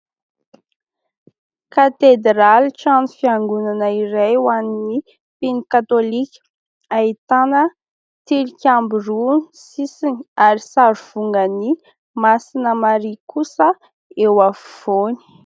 Katedraly, trano fiangonana iray ho an'ny mpino katôlika. Ahitana tilikambo roa ny sisiny ary sary vongan'i masina Maria kosa eo afovoany.